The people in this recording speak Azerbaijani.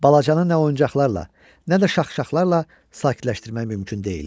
Balacanı nə oyuncaqlarla, nə də şaxşaxlarla sakitləşdirmək mümkün deyildi.